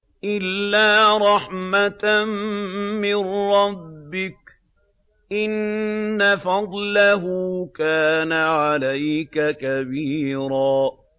إِلَّا رَحْمَةً مِّن رَّبِّكَ ۚ إِنَّ فَضْلَهُ كَانَ عَلَيْكَ كَبِيرًا